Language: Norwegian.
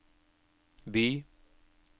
by